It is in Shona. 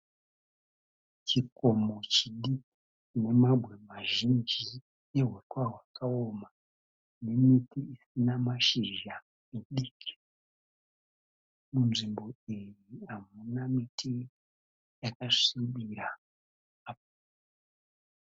Chikomo chiduku chine mabwe mazhinji nehuswa hwakaoma nemiti isina mashizha midiki. Nzvimbo iyi hamuna miti yakasvibira